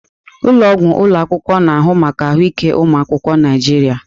Ụlọ ọgwụ ụlọ akwụkwọ na-ahụ maka ahụike ụmụ akwụkwọ Naijiria.